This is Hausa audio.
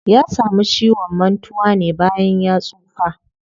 Ya samu ciwon mantuwa ne bayan ya tsufa.